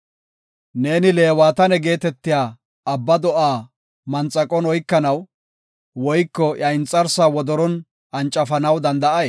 “Neeni Leewataane geetetiya abba do7aa manxaqon oykanaw, woyko iya inxarsaa wodoron ancafanaw danda7ay?